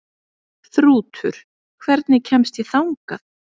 Þrútur, hvernig kemst ég þangað?